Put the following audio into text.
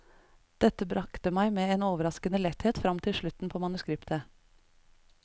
Dette brakte meg med en overraskende letthet frem til slutten på manuskriptet.